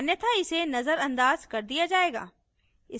अन्यथा इसे नजरअंदाज कर दिया जाएगा